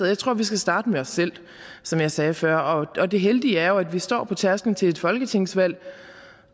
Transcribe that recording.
jeg tror vi skal starte med os selv som jeg sagde før og det heldige er at vi står på tærskelen til et folketingsvalg